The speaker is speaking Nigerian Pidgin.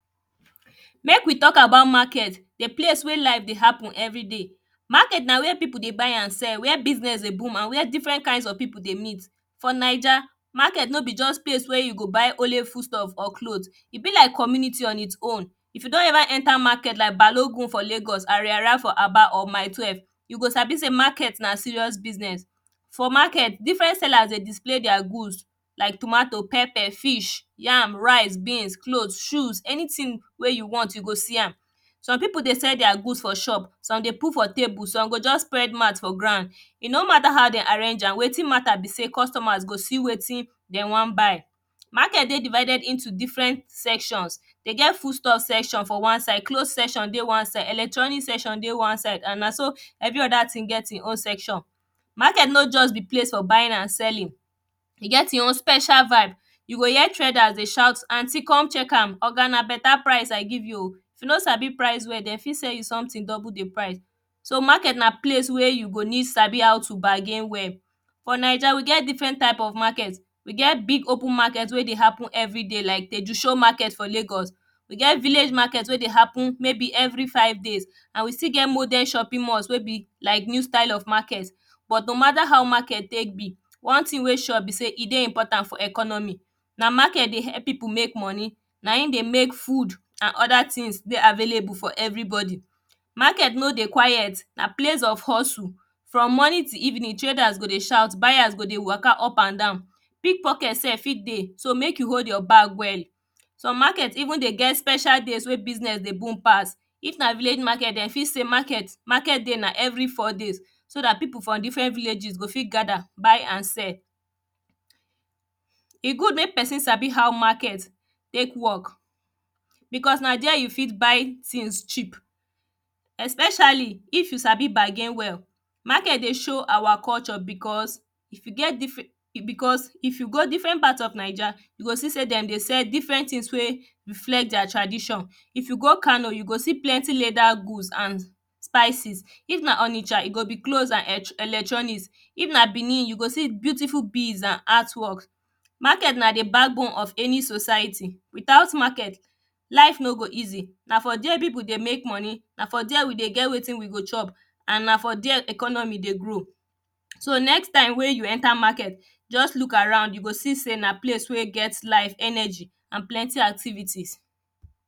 Mek we talk about market di place where business dey happen everyday. Market na where dey buy and sell where business dey boom and where different kinds of pipu dey meet. Foir niger, market no be place wey you go buy just foodstuff and cloth, e be like community on its own if you don ever enter market like balogun for lagos, arara for aba or mile 12,, yo go sabi ey market na serious business. For market, different sellers dey display their goods like tomato, pepper, fish, yam, rice, beans, cloth, anything wey you want, you go see am. Some pipu dey sell their goods for shop some dey put for table some go just spread mat for ground. E no mata how den arrange am, wetin mata be sey customers go see wetin dem wan buy.market dey divided into diferent sections, de get food stuff section for wan side cloth section dey wan side, electronics dey wan side, and na so evey other thing get e own section. Market no just be place for buying and selling, e get e own special vibe, you go hear traders dey shout aunty come check am oga na beta price I give u o, if you no sabi prie well, de fit sell you something double di price. So market na place where you go need sabi how to bargain well. For ninger we get different type of market,; we get big open market wey dey happen everyday like di sure market for lagos, e get village market wey dey happen maybe every Friday and we still get modern shopping malls wey be like new style of market. But no mata how market tek be, one thing wey sure be sey e dey important for economy. Na market dey helpo pipu mek money, na in dey mek food and other things wey dey available for everybody. Market n dey quiet na place of hustle from morning till evening, traders go dey shout buyers go dey qwaka up and down, pick pocket sef fit dey so mek you hold your bag well. Some market even dey get special days wey business dey boom pass, if na village market, den fit sey market dey na every four days so dat pipu from different vilkages go fit gaqther buy and sell. E good mek pesin sabi how market tek work, because na there e fit buy things cheap. Especially if you sabi bargain well. Market dey show our cullture because if you get because if you go different part of ninger, you go see sey dem dey sell different things wey reflect their tradition, if you go kano, you go see plenty leather good and spices, if na onisha, e go be cloths and electronics, if na benin, you go see beautiful beads and art work.market na di backbone of any society. Without market, life no go easy na for where pipu dey mek moni, na for there we dey get wetin we go chop, and na for there economy dey grow. So next time wey you enter market, just lookaround you go see sey na place wey get life energy and plenty activities.